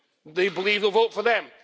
They believe a vote for them.